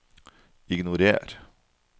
ignorer